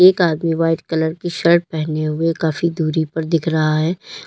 एक आदमी white colour की शर्ट पहने हुए काफी दूरी पर दिख रहा है।